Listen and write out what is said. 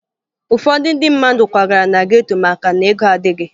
Ụfọdụ ndị mmadụ kwagara na geto maka na ego adịghị